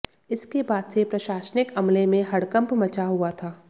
इसके बाद से प्रशासनिक अमले में हड़कंप मचा हुआ था